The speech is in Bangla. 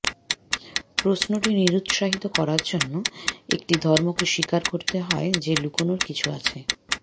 প্রশ্নটি নিরুৎসাহিত করার জন্য একটি ধর্মকে স্বীকার করতে হয় যে লুকানোর কিছু আছে